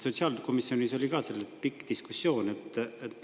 Sotsiaalkomisjonis oli sel teemal pikk diskussioon.